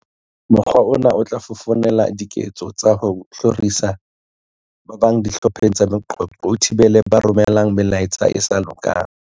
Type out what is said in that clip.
Mokgwa ona o tla fofonela diketso tsa ho hloriswa ha ba bang dihlopheng tsa meqoqo, o thibele ba romelang melaetsa e sa lokang.